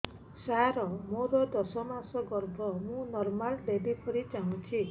ସାର ମୋର ଦଶ ମାସ ଗର୍ଭ ମୁ ନର୍ମାଲ ଡେଲିଭରୀ ଚାହୁଁଛି